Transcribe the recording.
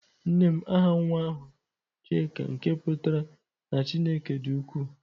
Nnem aha nwa ahu Chika nke putara na Chineke di uku.